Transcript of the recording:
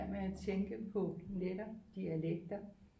At tænke på netop dialekter